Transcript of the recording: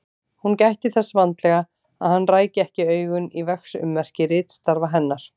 Hún gætti þess vandlega að hann ræki ekki augun í verksummerki ritstarfa hennar.